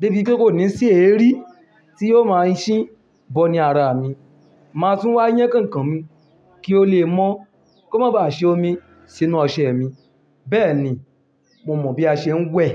débi wípé kò ní sí èérí tí yóò máa ń ṣí bọ ní ara mi. Màá tún wá yán kànkàn mi kí ó lè mọ́ kó má ba ṣe omi sínú ọṣẹ mi. Bẹ́ẹ̀ni mo mọ̀ bí a ṣe ń wẹ̀